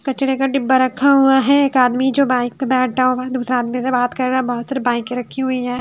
कचरे का डिब्बा रखा हुआ है एक आदमी जो बाइक पे बैठा हुआ दूसरे आदमी से बात कर रहा है बहुत सारी बाइके रखी हुई हैं।